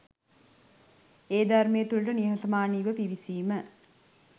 ඒ ධර්මය තුළට නිහතමානීව පිවිසීම.